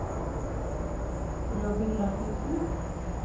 Robin Rasmussen